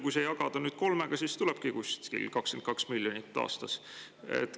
Kui see jagada kolmega, siis tulebki umbes 22 miljonit eurot aastas.